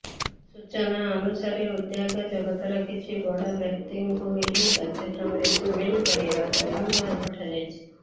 ସୂଚନା ଅନୁସାରେ ଉଦ୍ୟୋଗ ଜଗତର କିଛି ବଡ଼ ବ୍ୟକ୍ତିତ୍ବଙ୍କୁ ଏହି କାର୍ଯ୍ୟକ୍ରମରେ ସାମିଲ କରାଯିବାକୁ ନିମନ୍ତ୍ରଣ ପଠାଯାଇଛି